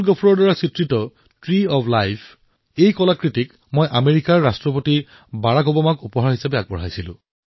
প্ৰকৃততে তেওঁৱেই সত্য কৰ্মযোগী যিয়ে জনসেৱা সমাজসেৱা আৰু এই সকলোৰে ঊৰ্ধত ৰাষ্ট্ৰসেৱাৰ প্ৰতি নিঃস্বাৰ্থভাৱে জড়িত হৈ আছে